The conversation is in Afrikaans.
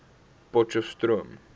potcheftsroom